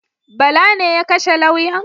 Bala ne ya kashe lauyan?